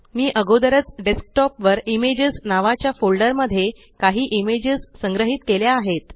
मी अगोदरच डेस्कटॉप वर इमेजेस नावाच्या फोल्डर मध्ये काही इमेजस संग्रहीत केल्या आहेत